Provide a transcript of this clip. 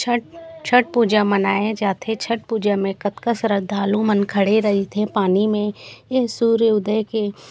छठ छठ पूजा मनाया जाथे छठ पूजा में कतका श्रद्धालु मन खड़े रहिथे पानी में यह सूर्य उदय के--